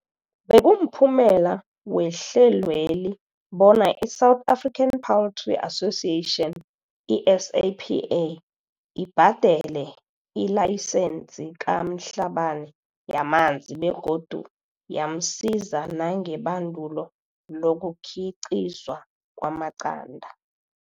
Bekumphumela wehlelweli bona i-South African Poultry Association, i-SAPA, ibha dele ilayisense ka-Mhlabane yamanzi begodu yamsiza nangebandulo lokukhiqizwa kwamaqanda.